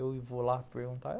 Eu vou lá perguntar?